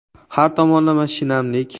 Har tomonlama shinamlik .